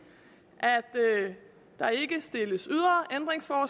at der ikke stilles at